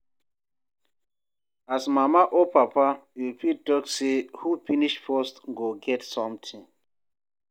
As mama or papa you fit talk sey who finish first go get something